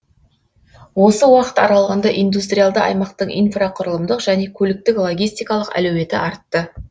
осы уақыт аралығында индустриалды аймақтың инфрақұрылымдық және көліктік логистикалық әлеуеті артты